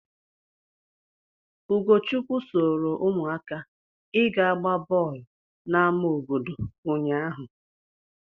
Ugochukwu soro ụmụaka ịga gbaa bọọlụ n'ama obodo ụnyaahụ.